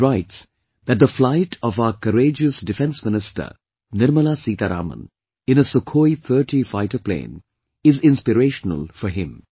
He writes that the flight of our courageous Defence Minister Nirmala Seetharaman in a Sukhoi 30 fighter plane is inspirational for him